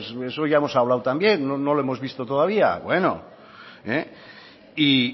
de eso ya hemos hablado también no le hemos visto todavía y